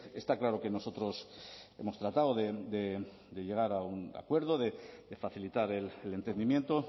está claro que nosotros hemos tratado de llegar a un acuerdo de facilitar el entendimiento